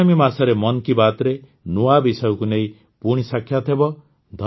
ଆଗାମୀ ମାସରେ ମନ୍ କି ବାତ୍ରେ ନୂଆ ବିଷୟକୁ ନେଇ ପୁଣି ସାକ୍ଷାତ ହେବ